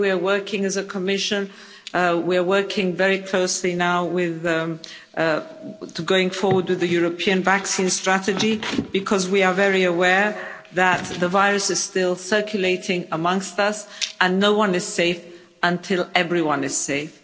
The way we are working as a Commission, we are working very closely now going forward with the European vaccine strategy because we are very aware that the virus is still circulating amongst us and no one is safe until everyone is safe.